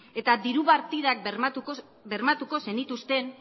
eta diru partidak bermatuko zenituzten